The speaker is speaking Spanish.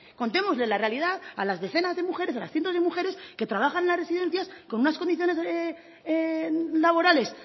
contemos la realidad a las decenas de mujeres a los cientos de mujeres que trabajan en residencias con unas condiciones laborales